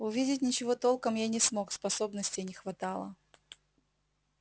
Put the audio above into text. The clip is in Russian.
увидеть ничего толком я не смог способностей не хватало